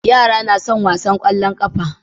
Yara na wasan kwallon kafa